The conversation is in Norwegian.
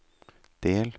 del